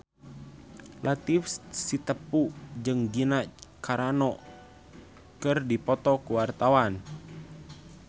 Latief Sitepu jeung Gina Carano keur dipoto ku wartawan